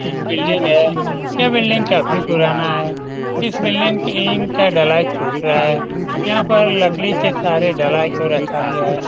यह एक बिल्डिंग है यह बिल्डिंग काफी पुराना है इस बिल्डिंग में का ढलाई छूट रहा है यहाँ पर लकड़ी के सहारे ढलाई को रखा गया है।